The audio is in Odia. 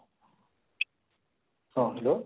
ହଁ hello